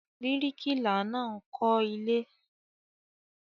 Bíríkìlà máa ń kọ́ ilé.